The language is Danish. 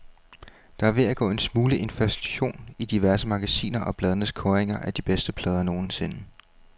Der er ved at gå en smule inflation i diverse magasiner og blades kåringer af de bedste plader nogensinde.